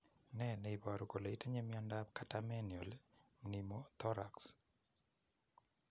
Ne ne iporu kole itinye miondap Catamenial pneumothorax?